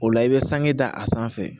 O la i bɛ sange da a sanfɛ